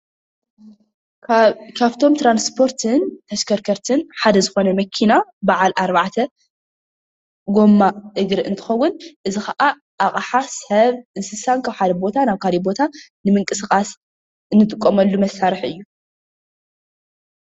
ካብቶም ትራንስፖርትን ተሽከርከርትሓደ ዘኾነ መኪና ባዓል ኣርባዕተ ጎማ እግር እንትኸዉን፣ እዚ ካዓ ኣቕሓ ፣ሰብ ፣እንስሳ ካብ ሓደ ቦታ ናብ ካሊእ ቦታ ንምንቅስቃስ እንጥቀመሉ መሳርሒ እዩ።